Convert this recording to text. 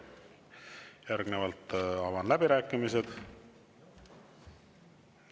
Järgnevalt avan läbirääkimised.